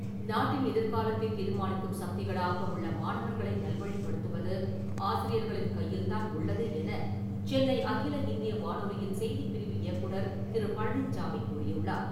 நாட்டின் எதிர்காலத்தை தீர்மானிக்கும் சக்திகளாக உள்ள மாணவர்களை நல்வழிபடுத்துவது ஆசியர்களின் கையில் தான் உள்ளது என சென்னை அகில இந்திய வானொலியின் செய்திப்பிரிவு இயக்குநர் திரு. பழனிச்சாமி கூறியுள்ளார்.